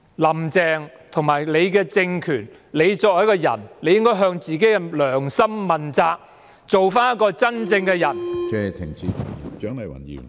"林鄭"身為一個人，應向自己的良心問責，做一個真正的人。